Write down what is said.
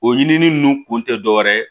O ɲinili ninnu kun tɛ dɔwɛrɛ ye